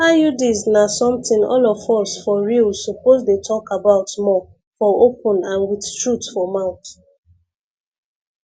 iuds na something all of us for real suppose dey talk about more for open and with truth for mouth